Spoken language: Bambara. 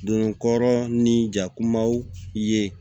Donkɔrɔ ni jakumaw ye